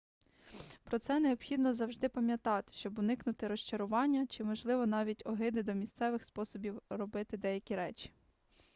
про це необхідно завжди пам'ятати щоб уникнути розчарування чи можливо навіть огиди до місцевих способів робити деякі речі